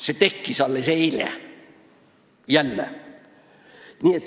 Selline asi tuli alles eile – jälle!